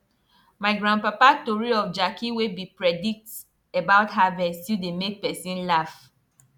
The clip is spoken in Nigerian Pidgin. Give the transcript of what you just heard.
my grandpapa tori of jackey wey be predict about harvest still dey make person laff